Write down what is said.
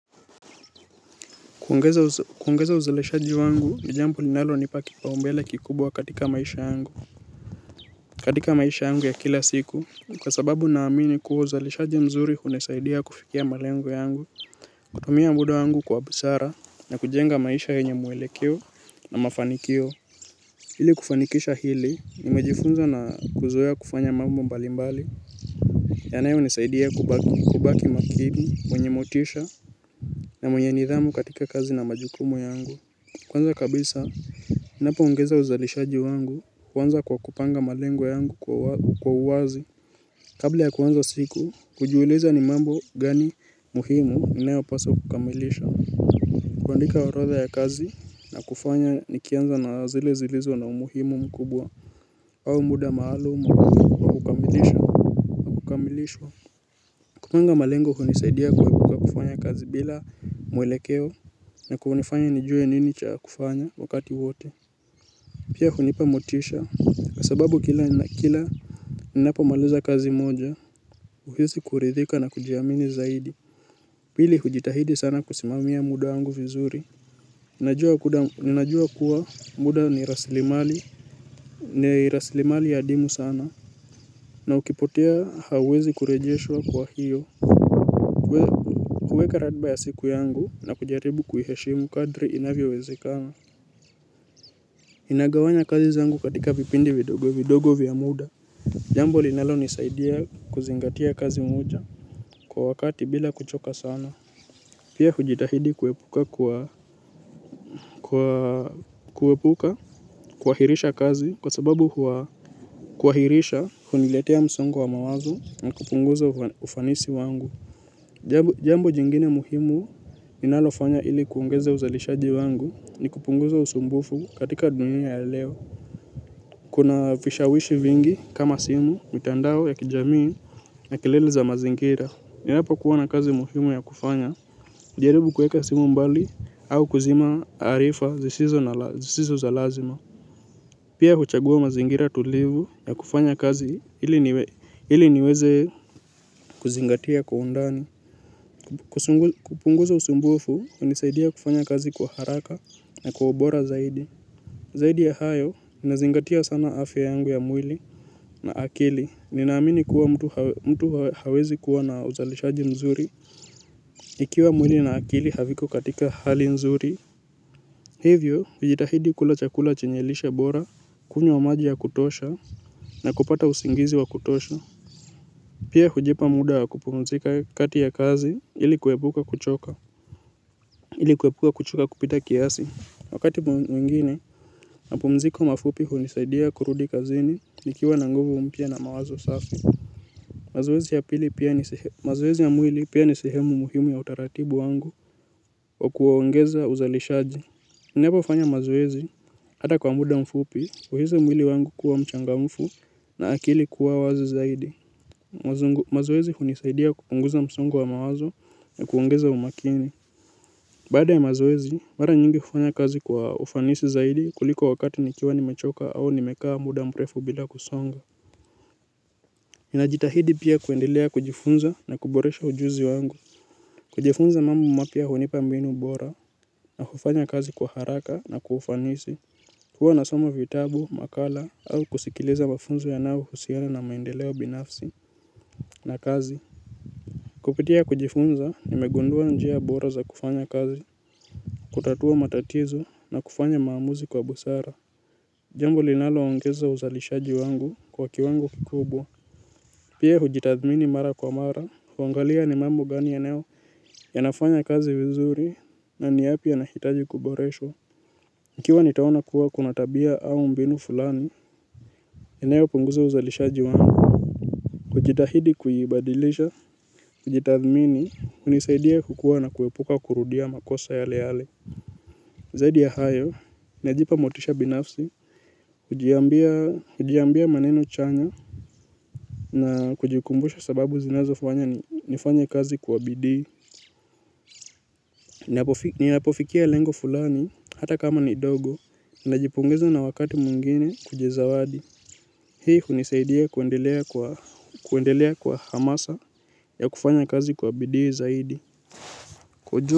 Kuongeza uzalishaji wangu ni jambo linalo nipa kipaumbele kikubwa katika maisha yangu. Katika maisha yangu ya kila siku, kwa sababu na amini kuo uzaleshaji mzuri unisaidia kufikia malengo yangu, kutumia muda wangu kwa busara na kujenga maisha yenye mwelekeo na mafanikio. Hili kufanikisha hili, nimejifunza na kuzoea kufanya mambo mbalimbali, yanayo nisaidia kubaki makini, mwenye motisha na mwenye nidhamu katika kazi na majukumu yangu. Kwanza kabisa, ninapoongeza uzalishaji wangu, huanza kwa kupanga malengo yangu kwa uwazi. Kabla ya kwanza siku, kujiuliza ni mambo gani muhimu ninayo paswa kukamilisha. Kuandika orodha ya kazi na kufanya nikianza na zile zilizo na umuhimu mkubwa au muda maalum wa kumilishwa. Kupanga malengo unisaidia kwa kufanya kazi bila mwelekeo na kunifanya nijue nini cha kufanya wakati wote. Pia unipa motisha, kwasababu kila ninapomaliza kazi moja, uhizi kuridhika na kujiamini zaidi. Pili hujitahidi sana kusimamia muda wangu vizuri. Ninajua kuwa muda ni rasilimali, ni rasilimali adimu sana. Na ukipotea hawezi kurejeshwa kwa hiyo. Kuweka ratba ya siku yangu na kujaribu kuheshimu kadri inavyo wezekana. Inagawanya kazi zangu katika vipindi vidogo, vidogo vya muda. Jambo linalo nisaidia kuzingatia kazi moja kwa wakati bila kuchoka sana. Pia hujitahidi kuepuka kwa kuepuka kuhahirisha kazi kwa sababu huwa kuwahirisha huniletea msongo wa mawazo ni kupunguza ufanisi wangu. Jambo jingine muhimu ninalofanya ili kuongeza uzalishaji wangu ni kupunguza usumbufu katika dunya ya leo. Kuna vishawishi vingi kama simu mitandao ya kijamii na kilele za mazingira. Ninapo kuwana kazi muhimu ya kufanya hujaribu kueka simu mbali au kuzima harifa zisizo za lazima. Pia huchagua mazingira tulivu ya kufanya kazi ili niweze kuzingatia kwa undani. Kupunguza usumbufu unisaidia kufanya kazi kwa haraka na kwa obora zaidi. Zaidi ya hayo unazingatia sana afya yangu ya mwili na akili, ninaamini kuwa mtu hawezi kuwa na uzalishaji mzuri. Ikiwa mwili na akili haviko katika hali mzuri. Hivyo, ujitahidi kula chakula chenyelisha bora, kunywa maji ya kutosha na kupata usingizi wa kutosha. Pia hujipa muda kupumzika kati ya kazi ilikuepuka kuchoka. Ilikuepuka kuchoka kupita kiasi. Wakati mwingine, mapumziko mafupi hunisaidia kurudi kazini. Nikiwa nanguvu mpia na mawazo safi. Mazoezi ya mwili pia nisehemu muhimu ya utaratibu wangu wa kuongeza uzalishaji. Ninapo fanya mazoezi hata kwa muda mfupi kwa hizi mwili wangu kuwa mchangamfu na akili kuwa wazi zaidi. Mazoezi hunisaidia kupunguza msongo wa mawazo na kuongeza umakini. Baada ya mazoezi mara nyingi kufanya kazi kwa ufanisi zaidi kuliko wakati nikiwa ni mechoka au nimekaa muda mrefu bila kusonga. Ninajitahidi pia kuendelea kujifunza na kuboresha ujuzi wangu. Kujifunza mambo mapia hunipa mbinu bora na kufanya kazi kwa haraka na kwaufanisi hua nasoma vitabu makala au kusikiliza mafunzo ya nao husiana na maendeleo binafsi. Na kazi. Kupitia kujifunza nimegundua njia bora za kufanya kazi kutatua matatizo na kufanya maamuzi kwa busara jambo linalo ongeza uzalishaji wangu kwa kiwango kikubwa. Pia hujitathmini mara kwa mara, kuangalia ni mambo gani yanayo yanafanya kazi vizuri, na niyapi yanahitaji kuboreshwa ikiwa nitaona kuwa kunatabia au mbinu fulani inayo punguza uzalishaji wangu kujitahidi kuibadilisha. Hujitathmini, unisaidia kukua na kuepuka kurudia makosa yale yale. Zaidi ya hayo, najipa motisha binafsi. Ujiambia maneno chanya na kujikumbusha sababu zinazo fanya nifanya kazi kuwabidi. Ni napofikia lengo fulani, hata kama ni dogo, najipungeza na wakati mwingine kuji zawadi. Hii kunisaidia kuendelea kwa hamasa ya kufanya kazi kwa bidii zaidi.